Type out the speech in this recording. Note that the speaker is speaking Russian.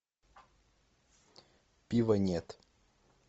пива нет